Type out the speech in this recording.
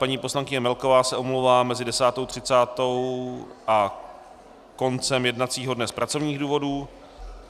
Paní poslankyně Melková se omlouvá mezi 10.30 a koncem jednacího dne z pracovních důvodů.